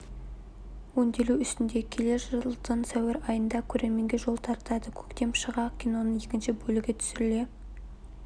өңделу үстінде келер жылдың сәуір айында көрерменге жол тартады көктем шыға киноның екінші бөлігі түсіріле